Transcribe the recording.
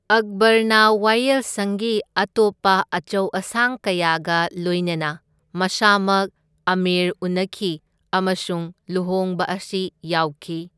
ꯑꯛꯕꯔꯅ ꯋꯥꯌꯦꯜꯁꯪꯒꯤ ꯑꯇꯣꯞꯄ ꯑꯆꯧ ꯑꯁꯥꯡ ꯀꯌꯥꯒ ꯂꯣꯢꯅꯅ ꯃꯁꯥꯃꯛ ꯑꯃꯦꯔ ꯎꯅꯈꯤ ꯑꯃꯁꯨꯡ ꯂꯨꯍꯣꯡꯕ ꯑꯁꯤ ꯌꯥꯎꯈꯤ꯫